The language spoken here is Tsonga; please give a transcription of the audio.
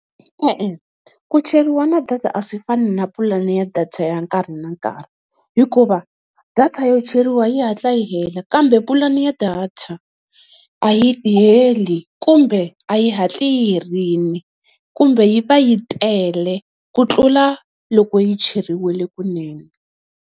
E-e ku cheriwa na data a swi fani na pulani ya data ya nkarhi na nkarhi, hikuva data yo cheriwa yi hatla yi hela, kambe pulani ya data a yi heli kumbe a yi hatli yi herile kumbe yi va yi tele ku tlula loko yi cheriwile kunene.